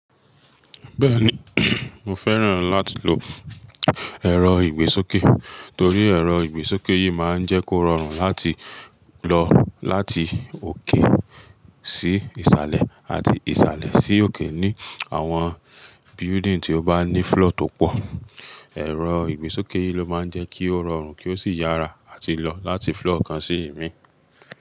Bẹ́ẹ̀ni, mo fẹ́ràn láti lo ẹ̀rọ ìgbésókè torí ẹ̀rọ ìgbésókè yìí máa ń jẹ́ kó rọrùn láti lọ láti òkè sí ìsàlẹ̀ àti ìsàlẹ̀ sí òkè ní àwọn building tí ó bá ní floor tó pọ̀. Ẹ̀rọ ìgbésókè yìí ló máa ń jẹ́ kí ó rọrùn kí ó sì yára àti lọ láti floor kan sí ìmíì.